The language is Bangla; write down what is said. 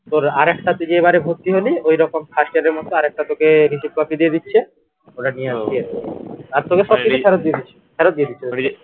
তোর আরেকটা তুই যেবারে ভর্তি হলি ঐরকম first year এর মতো আরেকটা তোকে receipt copy দিয়ে দিচ্ছে ওটা নিয়ে আসলেই হবে আর তোকে সব কিছু ফেরত দিয়ে দিচ্ছে ফেরত দিয়ে দিচ্ছে